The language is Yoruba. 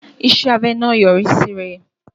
Iṣẹ́ abẹ náà yọrí síre.